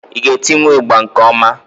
ị ga etiwu ịgbà nke ọma?